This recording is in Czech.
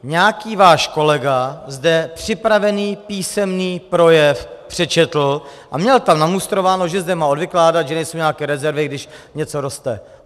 Nějaký váš kolega zde připravený písemný projev přečetl a měl tam namustrováno, že má zde odvykládat, že nejsou nějaké rezervy, když něco roste.